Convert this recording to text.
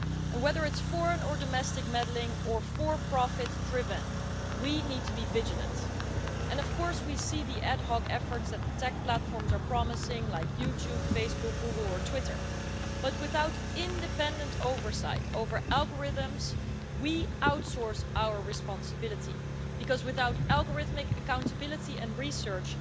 And whether it's foreign or domestic meddling, or profit driven, we need to be vigilant. Of course, we see the ad hoc efforts that the tech platforms are promising, like YouTube, Facebook, Google or Twitter, but without independent oversight over algorithms, we outsource our responsibility, because without algorithmic accountability and research,